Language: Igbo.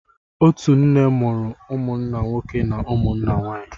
Otu nne mụrụ umụnna nwoke na ụmụnne nwanyị